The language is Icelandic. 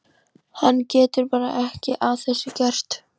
Hún getur bara ekki að þessu gert.